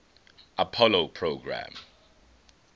apollo program